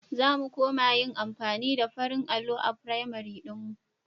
Za mu koma yin amfani da farin allon a firamar ɗinmu.